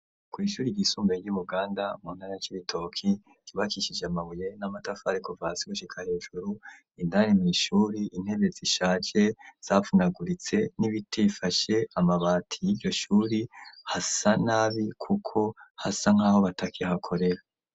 Kw'ishuri rgisumbaye ry'umuganda mu ntara c'ibitoki ribakishije amabuye n'amatafare kuva si gushika hejuru indare mwishuri intebe zishaje zapfunaguritse n'ibitifashe amabati y'iryo shuri hasa nab kuko hasa nk'aho bataki hakorera.